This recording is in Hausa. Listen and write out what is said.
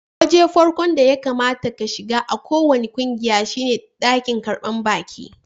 Wajen farkon da ya kamata ka shiga a kowani kungiya shine dakin karban baki.